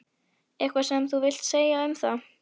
Eitthvað sem þú vilt segja um það?